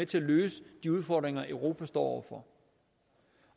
til at løse de udfordringer europa står for